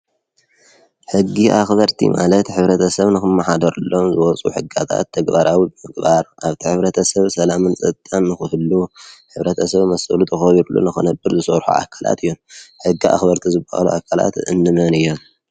ሕጊ አኽበርቲ ማለት ሕብረተሰብ ንክማሓደረሎም ዝወፁ ሕግታት ተግባራዊ ንምግባር አብቲ ሕብረተሰብ ሰላምን ፀጥታን ንክህሉ ሕብረተሰብ መሰሉ ተኸቢርሉ ንኽነብር ዝሰርሑ አካላት እዬም። ሕጊ አኽበርቲ ዝበሃሉ አካላት እንመን እዩም?